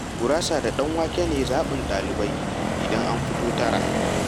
Gurasa da ɗanwake ne zaɓin ɗalibai idan an fito tara.